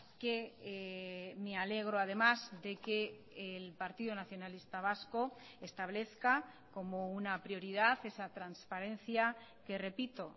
que me alegro además de que el partido nacionalista vasco establezca como una prioridad esa transparencia que repito